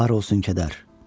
Var olsun kədər.